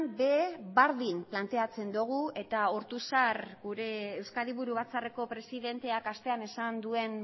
ere berdin planteatzen dugu eta ortuzar gure euskadi buru batzarreko presidenteak astean esan duen